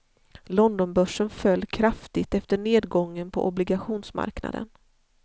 Londonbörsen föll kraftigt efter nedgången på obligationsmarknaden.